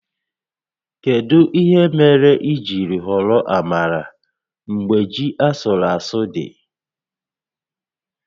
Kedu ihe mere i jiri họrọ amala mgbe ji asụrụ asụ dị?